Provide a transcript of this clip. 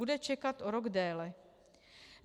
Bude čekat o rok déle.